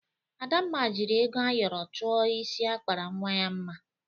Adamma jiri ego ayọrọ chụọ isi akpara nwa ya mma.